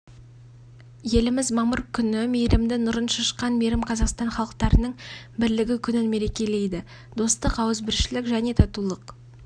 еліміз мамыр күні мейірімді нұрын шашқан мейрам қазақстан халықтарының бірлігі күнін мерекелейді достық ауызбіршілік және татулық